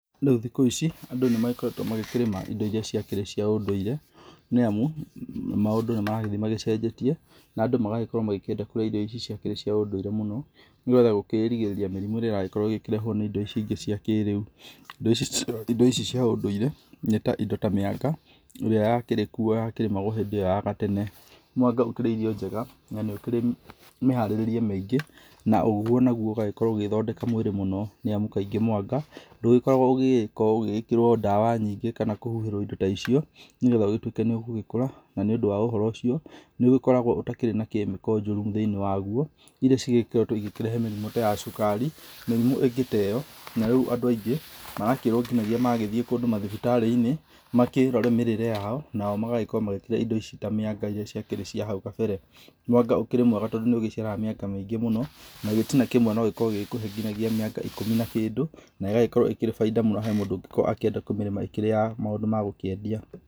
Andũ thikũ ici, andũ nĩ magĩkoretwo magĩkĩrĩma irio irĩa cíakĩrĩ cia ũndũire, nĩ amu maũndũ nĩmaragĩthiĩ magĩcenjetie, na andũ magagĩkorũo magĩkĩenda kũrĩa irio ici ciakĩrĩ cia ũndũire mũno, nĩgetha kũgĩĩrigĩrĩria mĩrimũ ĩrĩa ĩrakorwo ĩgĩkĩrehũo nĩ indo ici ingĩ cia kĩrĩu. Indo ici cia ũndũire, nĩ ta indo ta mĩanga ĩrĩ yakĩrĩ kuo yakĩrĩmagwo hĩndĩ ĩyo ya gatene. Mwanga ũkĩrĩ irio njega na nĩ ũkĩrĩ mĩharĩrĩrie mĩingĩ na ũguo naguo ũgagĩkorwo ũgĩgĩthondeka mwĩrĩ mũno, nĩ amu kaingĩ mwanga, ndũgĩkoragwo ũgĩgĩkĩrwo ndawa nyingĩ kana ũgĩkĩhuhĩrwo indo ta icio nĩgetha ũgĩgĩtuĩke nĩ ũgũgĩkũra na nĩũndũ wa ũhoro ũcio, nĩ ũgĩkoragwo ũtakĩrĩ na chemical njũru thĩini waguo, iria cikoretwo igĩkĩrehe mĩrimũ ta ya cukari, mĩrimũ ĩngĩ ta ĩyo na rĩu andũ aingĩ, marakĩrwo nginyagia magĩthiĩ kũndũ mathibitarĩinĩ makĩrore mĩrĩre yao nao magakorũo makĩrĩa indo ici ta mĩanga irĩa ciakĩrĩ cia nahau kabere. Mwanga ũkĩrĩ mwega tondũ nĩ ũgĩciaraga mĩanga mĩingĩ mũno, na gĩtina kĩmwe nogĩkorũo gĩgĩkũhe nginyagia mĩanga ikũmi na kĩndũ na ĩgagĩkorũo ĩrĩ baida mũno harĩ mũndũ ũngĩkorũo akĩmĩrĩma ĩkĩrĩ ya maũndũ ma gũkĩendia.